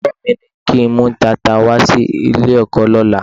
Olùkọ́ mi ní kí n mú tata wá sí ilé-ẹ̀kọ́ lọ́la.